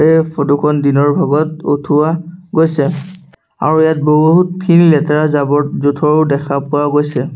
এই ফটোখন দিনৰ ভাগত উঠোৱা গৈছে আৰু ইয়াত বহুতখিনি লেতেৰা জাৱৰ-জুথৰো দেখা পোৱা গৈছে।